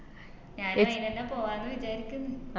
ഞാനും അതിനന്നെ പോവാന്ന് വിചാരിക്ക്ന്ന്